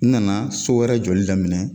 N nana so wɛrɛ joli daminɛ